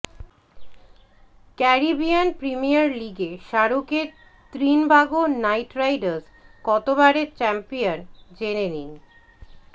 Caribbean Premier লিগে শাহরুখের Trinbago Knight Riders কতবারের চ্যাম্পিয়ন জেনে নিন